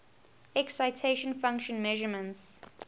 excitation function measurements